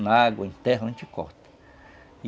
Na água interna, a gente corta.